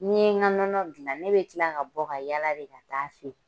Ni n ye n ka nɔnɔ gilan ne bɛ kila ka bɔ ka yaala de ka taa feere.